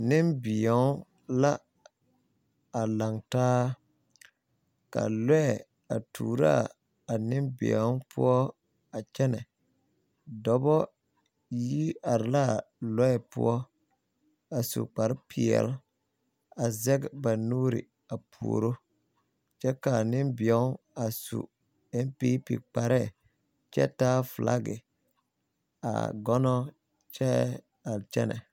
Nembeo la a laŋ taa ka lɔɛ a tuuro a nembeo poɔ a kyɛnɛ dɔbɔ yi are la a lɔɛ poɔ a su kparepeɛle a zeŋ ba nuuri puori kyɛ ka a nembeo a su NPP kpare a taa filaki a mono kyɛ a kyɛnɛ.